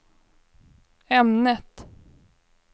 ämnet